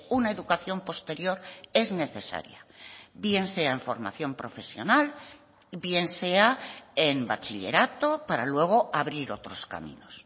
una educación posterior es necesaria bien sea en formación profesional bien sea en bachillerato para luego abrir otros caminos